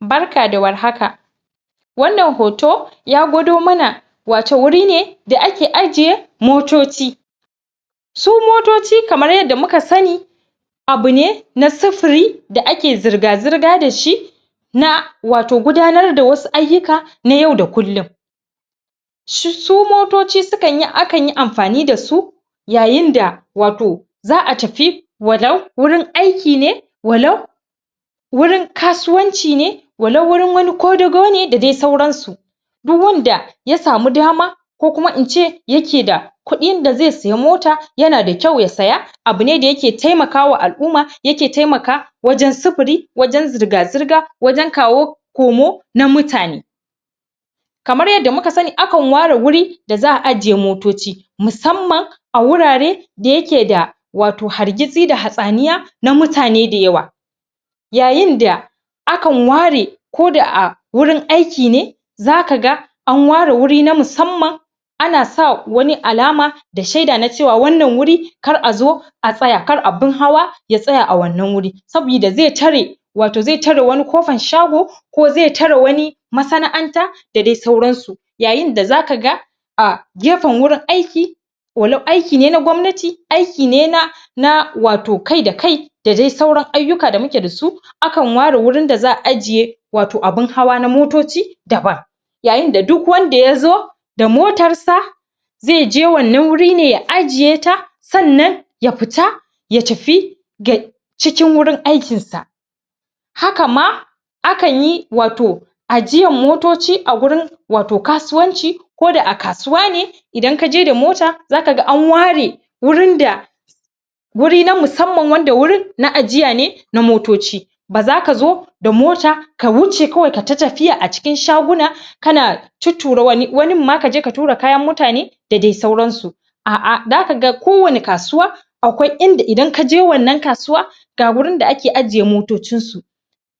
Barka da warhaka. Wannan hoto, ya gwado mana wato wuri ne da ake ajiye motoci. Su motoci kmara yadda muka sani, abu ne na sufuri da ake zirga-zirga dashi, na wato gudanar da wasu ayyuka, na yau da kullum. Su motoci a kan yi amfani dasu, yayin da wato za a tafi walau wurin aiki ne, walau wurin kasuwanci ne, walau wurin wani kodago ne, da dai sauran su. Duk wanda ya samu dama, ko kuma in ce yake da kuɗin da zai sayi mota, yana da kyau ya saya, abu ne da yake taimakawa al'umma, yake taimaka wajan sufuri, wajan zirga-zirga, wajan kawo komo na mutane. Kamar yadda muka sani, a kan ware wuri da za a ajiye motoci, musamman a wurare da yake da hargitsi, da hatsaniya na mutane da yawa. Yayin da a kan ware, ko da a wurin aiki ne, zaka ga an ware wuri na musamman, ana sa wani alama, da shaida na cewa wannan wuri kar a zo a tsaya, kar abun hawa ya tsaya a wannan wuri, sabida zai tare wato zai tare wani kofan shago, ko zai tare wani mana'anta, da dai sauran su. Yayin da za kaga a gefen wurin aiki, walau aiki ne na gwamnati, aiki ne na na wato kai da kai, da dai sauran ayyuka da muke da su. A kan ware wurin da za a ajiye wato abun hawa na motoci daban. Yayin da duk wanda yazo da motar sa, zai je wannan wuri ne ya ajiye ta, sannan ya futa ya tafi cikin wurin aikin sa. Haka ma a kan yi wato ajiyan motoci a wurin wato kasuwanci, ko da a kasuwa ne idan kaje da mota, zaka ga an ware wurun da wuri na musamman, wanda wurin na ajiya ne na motoci, ba zaka zo da mota ka wuce, kawai kayi ta tafiya a cikin shaguna kana tuttura wani, wanin ma kaje ka tura kayan mutane da dai sauransu. A'a, da kaga ko wani kasuwa, idan kaje wannan kasuwa, ga wurin da ake ajiye motocin su.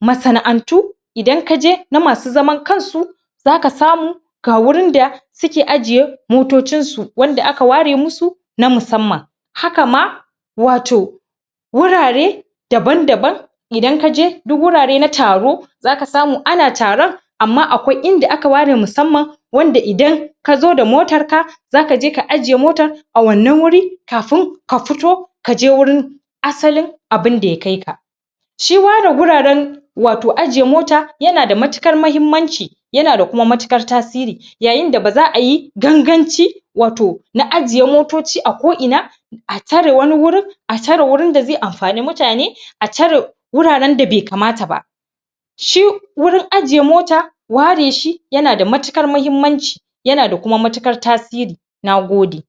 Masana'antu idan kaje, na masu zaman kan su, zaka samu ga wurin da suke ajiye motocin su, wanda aka ware musu na musamman. Haka ma wato wurare daban-daban, idan kaje du wurare na taro, zaka samu ana taron amma akwai inda aka ware musamman, wanda idan kazo da motar ka, za kaje ka ajiye motar a wannan wuri, kafun ka futo, kaje wurin asalin abunda ya kaika. Shi ware guraren wato ajiye mota, yana da matuƙar muhimmanci, yana da kuma matuƙar tasiri. Yayin da ba za ayi ganganci wato na ajiye motoci a ko ina a tare wani wurin, a tare wurin da zai amfani mutane, a tare wuraren da bai kamata ba. Shi wurin ajiye mota, ware shi yana da matuƙar mahimmanci, yana da kuma matuƙar tasiri. Nagode.